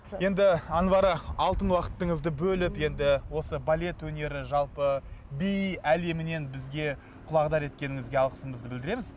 енді анвара алтын уақытыңызды бөліп енді осы балет өнері жалпы би әлемінен бізге құлағдар еткеніңізге алғысымызды білдіреміз